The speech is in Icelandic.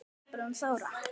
Kolbrún Þóra.